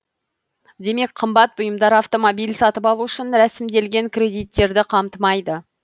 демек қымбат бұйымдар автомобиль сатып алу үшін ресімделген кредиттерді қамтымайды